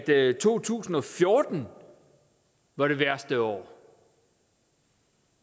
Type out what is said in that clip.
to tusind og fjorten var det værste år